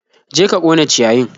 Je ka ƙona ciyayin!